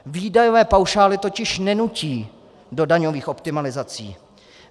Výdajové paušály totiž nenutí do daňových optimalizací.